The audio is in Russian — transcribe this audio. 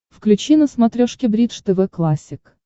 включи на смотрешке бридж тв классик